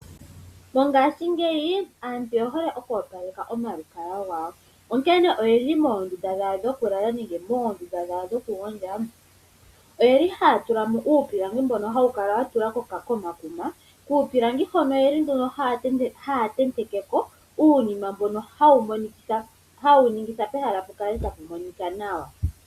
Mongashingeyi aantu oye hole oku opaleka oma lukalwa gawo. Onkene oyeli moondunda dhawo dhokulala nenge moondunda dhawo dhoku gondja . Oyeli haya tulamo uupilangi mbono hawu kala watulwa komakuma . Kuupilangi hono oyeli nduno haya tentekeko uunima mbono hawu ningitha pehala pukale tapu monika nawa.